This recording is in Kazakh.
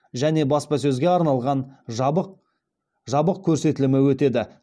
және баспасөзге арналған жабық көрсетілімі өтеді